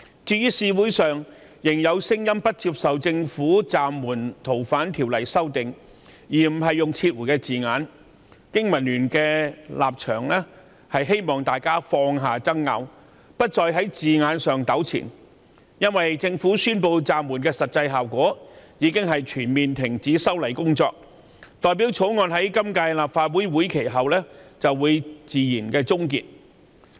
對於社會上仍然有人不接受政府暫緩《逃犯條例》修訂，而沒有用上"撤回"一詞，經民聯希望大家放下爭拗，不要再在字眼上糾纏，因為政府宣布暫緩修例的實際效果，就是全面停止修例工作，意味着《條例草案》會在今屆立法會任期結束後自然終結。